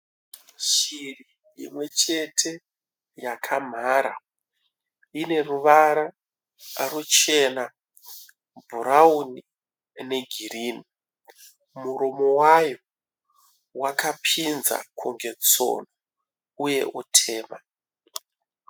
Shiri imwe chete yakamhara ineruvara ruchena, bhurauni ne girinhi. Muromo wayo wakapinza kunge tsono uye utema.